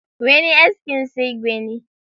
Wani askin sai gwani.